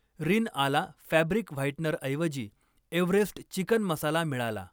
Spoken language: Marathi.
रिन आला फॅब्रिक व्हाईटनरऐवजी एव्हरेस्ट चिकन मसाला मिळाला